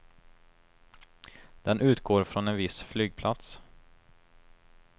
Den utgår från en viss flygplats.